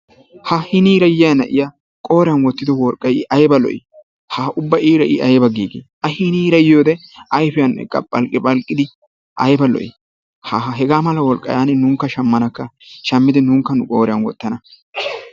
Ha hiniira yiyaa na'iyaa qooriyaan wottido worqqay i ayba lo"ii! ha ubba iira ayba giigii! a hiinira yiyoode ayfiyaan eqqa phalqqi phalqqidi ayba lo"ii! ha hegaa maa worqqaa yaanin nunkka shammanaaka. shaammidi nunkka nu qooriyaan woottana.